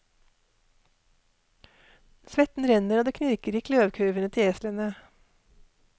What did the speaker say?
Svetten renner, og det knirker i kløvkurvene til eslene.